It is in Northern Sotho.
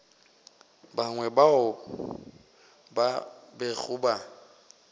bangwe bao ba bego ba